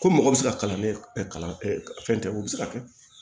Ko mɔgɔ bɛ se ka kalan ne kalan fɛn tɛ o bɛ se ka kɛ